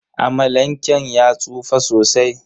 Amalanken ya tsufa sosai.